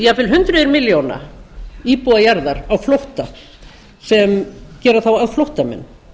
jafnvel hundruð milljóna íbúa jarðar á flótta gera þá flóttamenn